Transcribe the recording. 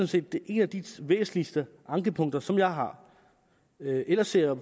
set en af de væsentligste ankepunkter som jeg har ellers ser